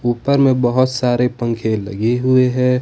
ऊपर में बहोत सारे पंखे लगे हुए हैं।